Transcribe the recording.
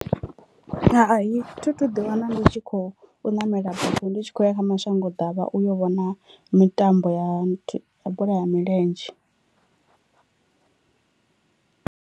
Hai thi thu ḓi wana ndi tshi kho u ṋamela bufho ndi tshi khou ya kha mashango ḓavha uyo vhona mitambo ya bola ya milenzhe.